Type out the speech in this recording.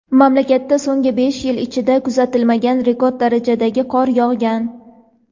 Mamlakatda so‘nggi besh yil ichida kuzatilmagan rekord darajadagi qor yog‘gan.